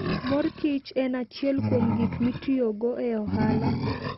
Mor kich en achiel kuom gik mitiyogo e ohala.